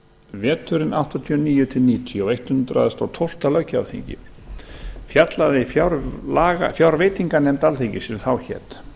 veturinn nítján hundruð áttatíu og níu til nítján hundruð níutíu á hundrað og tólfta löggjafarþingi fjallaði fjárveitinganefnd alþingis